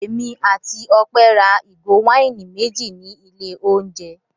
Èmi àti Ọpẹ́ ra ìgò wáìnì méjì ní ilé-oúnjẹ.